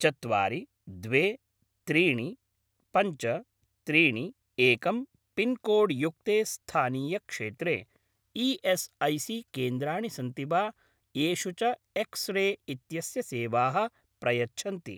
चत्वारि द्वे त्रीणि पञ्च त्रीणि एक् पिन्कोड् युक्ते स्थानीयक्षेत्रे ई.एस्.ऐ.सी.केन्द्राणि सन्ति वा येषु च एक्स् रे इत्यस्य सेवाः प्रयच्छन्ति?